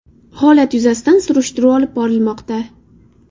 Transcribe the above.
Holat yuzasidan surishtiruv olib borilmoqda.